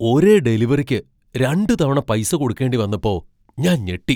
ഒരേ ഡെലിവറിക്ക് രണ്ടുതവണ പൈസ കൊടുക്കേണ്ടി വന്നപ്പോ ഞാൻ ഞെട്ടി.